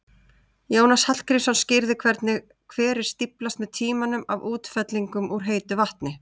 Jónas Hallgrímsson skýrði hvernig hverir stíflast með tímanum af útfellingum úr heitu vatni.